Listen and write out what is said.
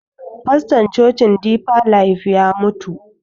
Faston cocin difa laif ya mutu.